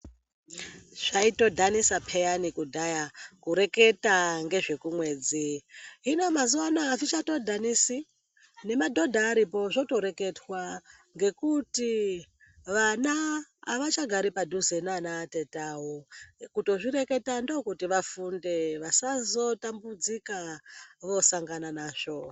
Zvaitodhanisa peyani kudhaya kurekete ngezvekumwedzi. Hino mazuwa anaya azvichatodhanisi. Nemadhodha aripo zvotoreketwa ngekuti vana avachagari padhuze nana tete awo. Kutozvireketa ndokuti vafunde vasazotambudzika vosangana nazvo.